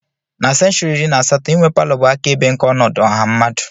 Na senshuri iri na asatọ, inwe palọ bụ akaebe nke ọnọdụ ọha mmadụ.